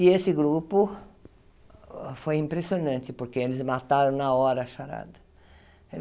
E esse grupo foi impressionante, porque eles mataram na hora a charada.